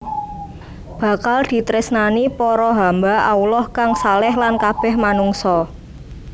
Bakal ditresnani para hamba Allah kang shaleh lan kabeh manungsa